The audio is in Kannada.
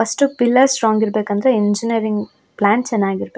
ಫರ್ಸ್ಟ್ ಪಿಲ್ಲರ್ ಸ್ಟ್ರೋಂಗ್ ಇರ್ಬೇಕಂದ್ರೆ ಇಂಜಿನಿಯರಿಂಗ್ ಪ್ಲ್ಯಾನ್ ಚೆನ್ನಾಗಿರ್ಬೇಕ್.